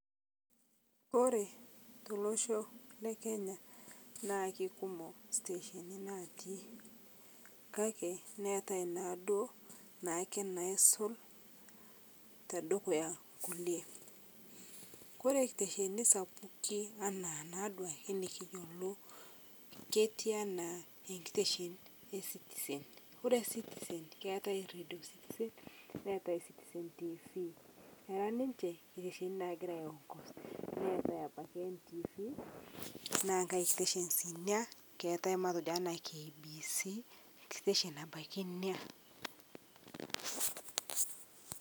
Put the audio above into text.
Kore tolosho le Kenya naa kekumook siteshonii natii kakii neetai nadoo naake naisuul te dukuya kulee. Ore siteshoni sapuki ana ana duake nikiyeelo ketii ana enkiteshoon e Citizen keetai radio citizen neetai Citizen Tv. Keraa ninchee siteshonii nagiraa aiongoz neetai abakii NTV naa nkaai station sii enia. Keetai matejoo ena KBC staion abaki enia.